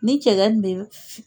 Ni cɛgɛ den